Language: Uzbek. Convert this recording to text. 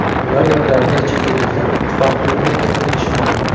Ular yordamida chet elliklar ittifoq hududiga kiritilishi mumkin.